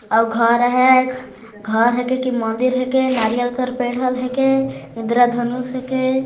अउ घर है घर है के मंदिर है के नारियल का पेड़ है के इंद्राधनुष है के--